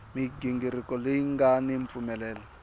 mighingiriko leyi nga ni mpfumelelo